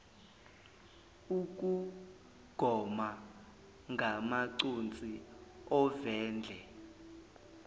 ukugoma ngamaconsi ovendle